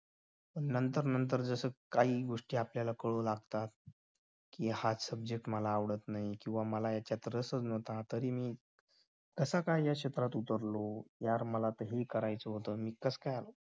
नंतर नंतर जस काही गोष्टी आपल्याला कळू लागतात कि हा subject मला आवडत नाही किंवा मला यांच्यात रसच नव्हता कसा काय या क्षेत्रात उतरलो यार मला हे करायचं होत नि कस काय